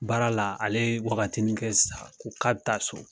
Baara la ale ye wagatini kɛ sisan a ko ka bi taa so